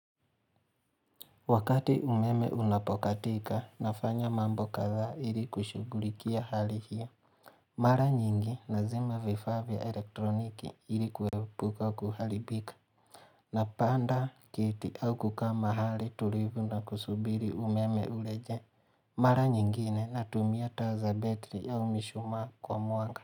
Wakati umeme unapokatika nafanya mambo kadha ili kushughulikia hali hiyo Mara nyingi nazima vifaa vya elektroniki ili kuepuka kuharibika na panda kiti au kukaa mahali tulivu na kusubiri umeme ulejee Mara nyingine na tumia taa za battery au mishumaa kwa mwanga.